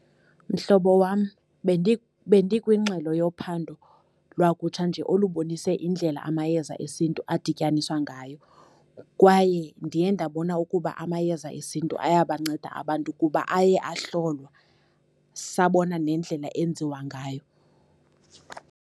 Mhlobo wam, bendikwingxelo yophando lwakutsha nje olubonise indlela amayeza esintu adityaniswa ngayo, kwaye ndiye ndabona ukuba amayeza esintu ayabanceda abantu kuba aye ahlolwa sabona nendlela enziwa ngayo.